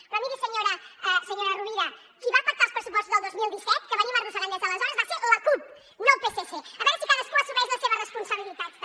però miri senyora sirvent qui va pactar els pressupostos del dos mil disset que venim arrossegant des d’aleshores va ser la cup no el psc a veure si cadascú assumeix les seves responsabilitats també